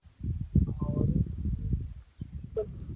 ஒரு